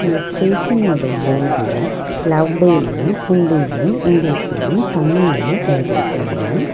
இந்த ஸ்டேஷனோட போட்ல லவ் டேல்னு ஹிந்திலயு இங்கிலீஷ்லயும் தமிழ்லயும் எழுதிருக்காங்க.